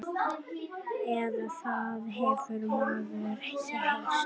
Eða það hefur maður heyrt.